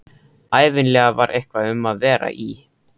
Ævinlega var eitthvað um að vera í